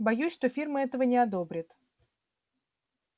боюсь что фирма этого не одобрит